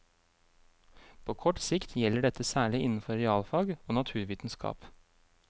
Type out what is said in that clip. På kort sikt gjelder dette særlig innenfor realfag og naturvitenskap.